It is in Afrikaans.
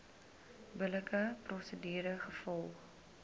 billike prosedure gevolg